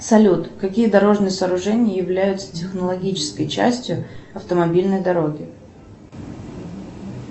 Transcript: салют какие дорожные сооружения являются технологической частью автомобильной дороги